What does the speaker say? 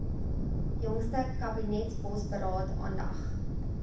jongste kabinetsbosberaad aandag